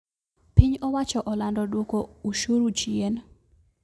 Piny owacho olando duko ushuru chien